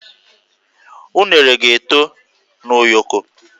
Unere ga-eto na ụyọkọ